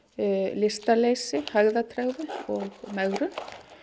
lystarleysi hægðatregðu og megrun